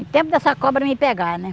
Em tempo dessa cobra me pegar, né?